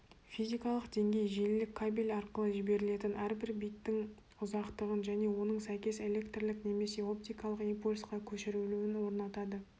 физикалық деңгей желілік кабель арқылы жіберілетін әрбір биттің ұзақтығын және оның сәйкес электрлік немесе оптикалық импульсқа көшірілуін орнатады